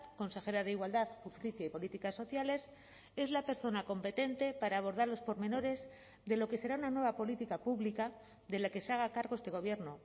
consejera de igualdad justicia y políticas sociales es la persona competente para abordar los pormenores de lo que será una nueva política pública de la que se haga cargo este gobierno